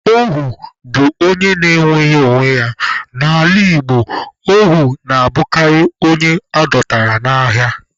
Ohu bụ onye enweghị onwe ya, n'ala Igbo, ohu na-abụkarị onye adọtara n'agha.